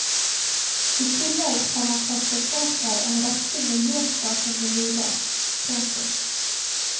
I tillegg har man kostet på seg en rekke miljøskapende lyder. punktum